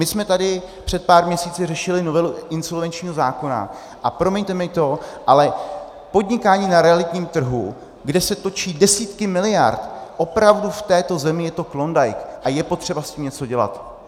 My jsme tady před pár měsíci řešili novelu insolvenčního zákona a promiňte mi to, ale podnikání na realitním trhu, kde se točí desítky miliard, opravdu v této zemi je to klondike a je potřeba s tím něco dělat.